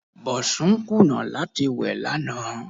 Bọ̀sún kùnà láti wẹ̀ lánàá.